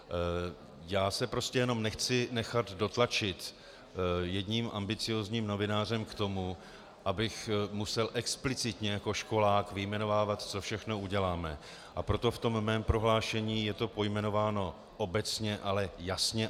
Já se prostě jenom nechci nechat dotlačit jedním ambiciózním novinářem k tomu, abych musel explicitně jako školák vyjmenovávat, co všechno uděláme, a proto v tom mém prohlášení je to pojmenováno obecně, ale jasně.